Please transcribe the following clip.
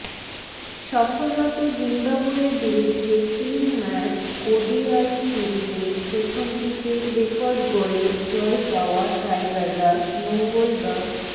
সফররত জিম্বাবুয়ের বিরুদ্ধে তিন ম্যাচ ওডিআই সিরিজের প্রথমটিতে রেকর্ড গড়ে জয় পাওয়া টাইগাররা মঙ্গলবা